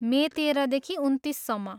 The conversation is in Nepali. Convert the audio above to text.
मे तेह्रदेखि उन्तिससम्म।